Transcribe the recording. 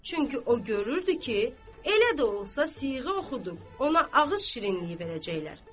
Çünki o görürdü ki, elə də olsa siğə oxudu, ona ağız şirinliyi verəcəklər.